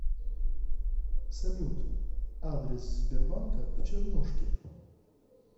салют адрес сбербанка в чернушке